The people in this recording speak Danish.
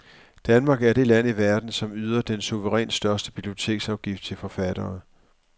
Danmark er det land i verden, som yder den suverænt største biblioteksafgift til forfattere.